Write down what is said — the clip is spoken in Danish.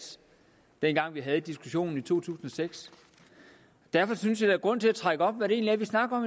dengang vi havde diskussionen i to tusind og seks derfor synes jeg er grund til at tegne op hvad vi egentlig snakker